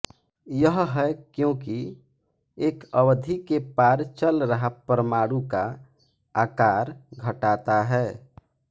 यह है क्योंकि एक अवधि के पार चल रहा है परमाणु का आकार घटाता है